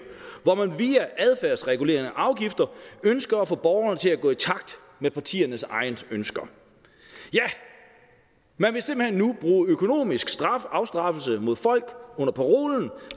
hvor man via adfærdsregulerende afgifter ønsker at få borgerne til at gå i takt med partiernes egne ønsker ja man vil simpelt hen nu bruge økonomisk afstraffelse mod folk under parolen